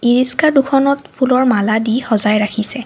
ই ৰিস্কা দুখনত ফুলৰ মালাদি সজাই ৰাখিছে।